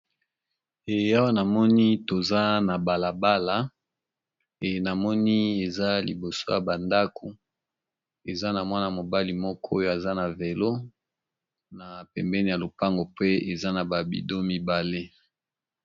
Eeh awa namoni toza na balabala eeh namoni eza liboso ya bandako eza na mwana mobali moko oyo aza na velo na pembeni ya lopango pe eza na ba bidon mibale.